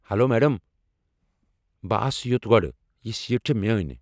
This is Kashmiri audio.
ہٮ۪لو میڈم، بہٕ آس یوٚت گۄڑٕ۔ یہ سیٖٹ چھےٚ میٛٲنۍ۔